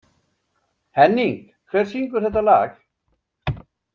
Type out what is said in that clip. Henning, hver syngur þetta lag?